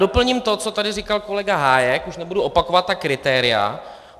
Doplním to, co tady říkal kolega Hájek, už nebudu opakovat ta kritéria.